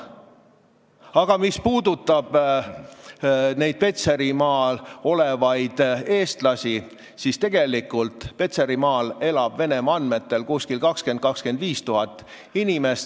Aga mis puudutab Petserimaal elavaid eestlasi, siis tegelikult Petserimaal elab Venemaa andmetel 20 000 – 25 000 inimest.